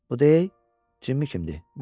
Bu deyir Jimmi kimdir?